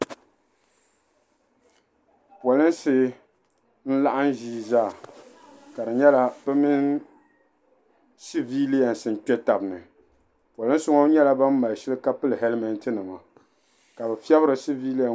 Polinsi n-laɣim ʒii zaa ka di nyɛla bɛ mini sabiilanima n-kpe taba ni. Polinsi ŋɔ nyɛla bam mali shili ka pili hɛlimɛntinima ka bɛ fiɛbiri sabiilanima ŋɔ.